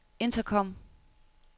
intercom